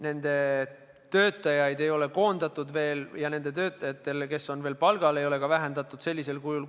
Nende töötajaid ei ole veel koondatud ja nende töötajatel, kes on veel palgal, ei ole ka koormust vähendatud.